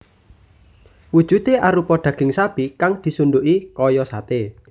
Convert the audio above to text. Wujudé arupa daging sapi kang disunduki kaya saté